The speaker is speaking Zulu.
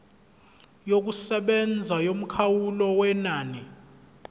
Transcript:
yokusebenza yomkhawulo wenani